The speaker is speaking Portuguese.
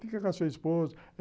Fica com a sua esposa.